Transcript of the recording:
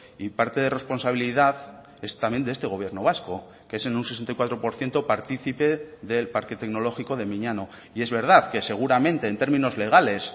y parte de responsabilidad es también de este gobierno vasco que es en un sesenta y cuatro por ciento partícipe del parque tecnológico de miñano y es verdad que seguramente en términos legales